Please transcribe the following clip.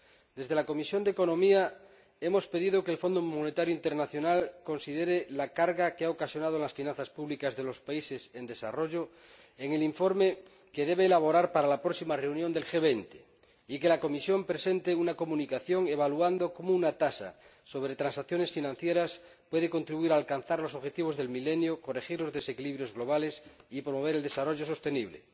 Desde la Comisión de Asuntos Económicos y Monetarios hemos pedido que el Fondo Monetario Internacional considere la carga que ha ocasionado a las finanzas públicas de los países en desarrollo en el informe que debe elaborar para la próxima reunión del G20 y que la Comisión presente una comunicación en la que se evalúe de qué manera una tasa sobre transacciones financieras puede contribuir a alcanzar los Objetivos del Milenio, corregir los desequilibrios globales y promover el desarrollo sostenible.